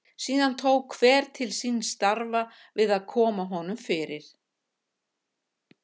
Síðan tók hver til síns starfa við að koma honum fyrir.